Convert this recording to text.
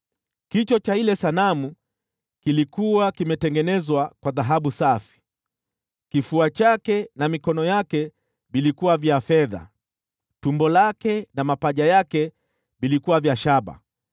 Kichwa cha ile sanamu kilikuwa kimetengenezwa kwa dhahabu safi, kifua chake na mikono yake vilikuwa vya fedha, tumbo lake na mapaja yake vilikuwa vya shaba,